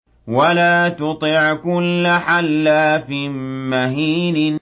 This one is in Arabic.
وَلَا تُطِعْ كُلَّ حَلَّافٍ مَّهِينٍ